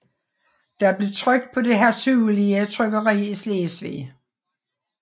Den blev trykt på det hertugelige trykkeri i Slesvig